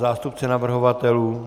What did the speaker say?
Zástupce navrhovatelů?